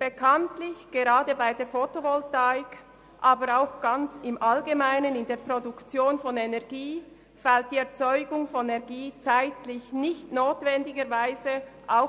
Bekanntlich fällt die Erzeugung von Energie gerade bei der Fotovoltaik, aber auch in der Produktion von Energie im Allgemeinen zeitlich nicht notwendigerweise